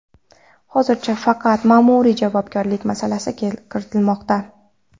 Hozircha faqat ma’muriy javobgarlik masalasi kiritilmoqda.